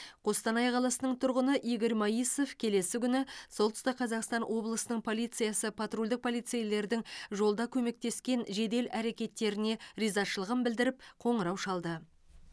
қостанай қаласының тұрғыны игорь моисов келесі күні солтұстік қазақстан облысының полициясы патрульдік полицейлердің жолда көмектескен жедел әрекеттеріне ризашылығын білдіріп қоңырау шалды